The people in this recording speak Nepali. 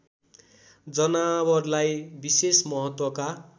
जनावरलाई विशेष महत्त्वका